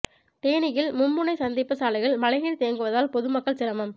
தேனியில் மும்முனை சந்திப்பு சாலையில் மழைநீா் தேங்குவதால் பொதுமக்கள் சிரமம்